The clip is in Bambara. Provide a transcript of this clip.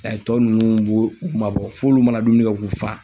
tɔ ninnu b'o u ma bɔ f'olu mana dumuni kɛ k'u fa.